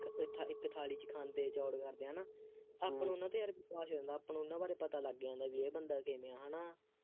ਇੱਕ ਥਾਲੀ ਇੱਕ ਥਾਲੀ ਚ ਖਾਂਦੇ ਚੌੜ ਕਰਦੇ ਹੈ ਨਾ ਆਪਾਂ ਨੂੰ ਉਹਨਾ ਦੇ ਆਪਾਂ ਨੂੰ ਉਹਨਾ ਬਾਰੇ ਪਤਾ ਲੱਗ ਜਾਂਦਾ ਬਈ ਇਹ ਬੰਦਾ ਕਿਵੇਂ ਹੈ ਹੈ ਨਾ,